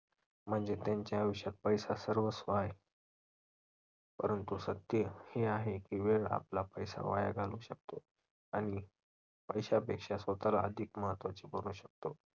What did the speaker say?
म्हणजे त्यांच्या आयुष्यात पैसा सर्वस्व आहे. परंतु सत्य हे आहे की वेळ आपला पैसा वाया घालवू शकते आणि पैशापेक्षा स्वतःला अधिक महत्त्वाचे बनवू शकतो.